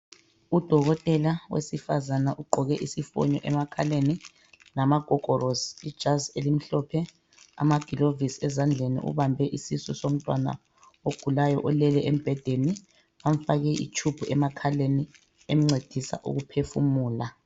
Udokotela wesifazana ugqoke isifoni emakhaleni, lamagogorosi, ijazi elimhlophe, amagilovisi ezandleni, ubambe isisu somntwana ogulayo olele embhedeni, bamfake itshubhu emakhaleni emncedisa ukuphefumula.